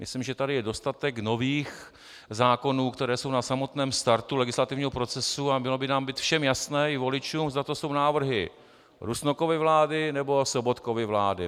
Myslím, že tady je dostatek nových zákonů, které jsou na samotném startu legislativního procesu, a mělo by nám být všem jasné, i voličům, zda to jsou návrhy Rusnokovy vlády, nebo Sobotkovy vlády.